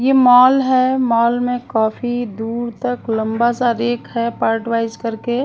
ये मॉल है मॉल में काफी दूर तक लंबा सा रेख है पार्ट वाइज करके--